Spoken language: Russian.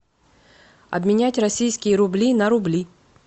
обменять российские рубли на рубли